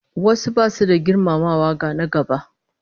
Wasu basu da girmamawa ga na-gaba